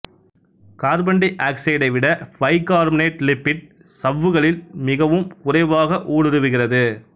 carbon டை ஆக்சைடை விட பைகார்பனேட் லிப்பிட் சவ்வுகளில் மிகவும் குறைவாக ஊடுருவுகிறது